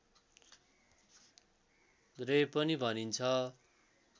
रे पनि भनिन्छ